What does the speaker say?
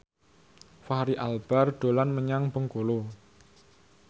Fachri Albar dolan menyang Bengkulu